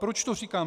Proč to říkám?